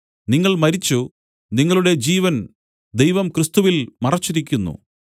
നിങ്ങൾ മരിച്ചു നിങ്ങളുടെ ജീവൻ ദൈവം ക്രിസ്തുവിൽ മറച്ചിരിക്കുന്നു